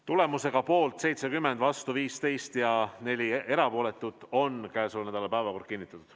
Tulemusega poolt 70, vastu 15 ja 4 erapooletut on käesoleva nädala päevakord kinnitatud.